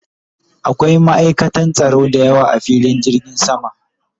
Akwai ma'aikatan tsaro da yawa a filin jirgin sama